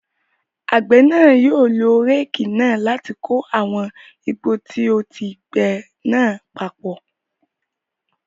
Àgbẹ̀ náà yóò lo réékì náà láti kó àwọn igbó tí ó ti gbe náà papọ̀.